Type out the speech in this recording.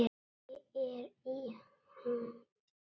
Ég er í ham.